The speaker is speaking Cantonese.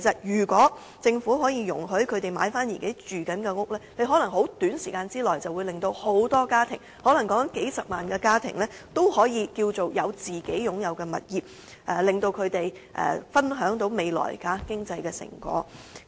如果政府可以容許這些市民購買自己正在居住的單位，可能在短時間內可令大量家庭——可能有數十萬個家庭——擁有自己的物業，讓他們分享未來的經濟成果。